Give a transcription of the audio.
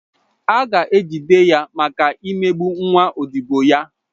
A ga-ejide ya maka imegbu nwa odibo ya.